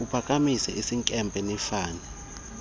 uphakamisa isinkempe nifane